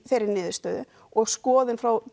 þeirri niðurstöðu og skoðun frá